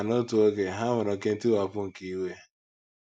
Ma, n’otu oge,, ha nwere oké ntiwapụ nke iwe.